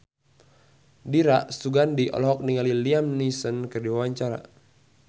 Dira Sugandi olohok ningali Liam Neeson keur diwawancara